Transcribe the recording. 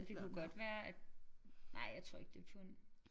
Det kunne godt være at nej jeg tror ikke det er pund